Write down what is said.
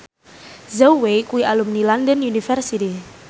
Zhao Wei kuwi alumni London University